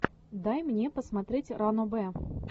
дай мне посмотреть ранобэ